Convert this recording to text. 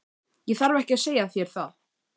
Ég þarf ekki að segja þér það.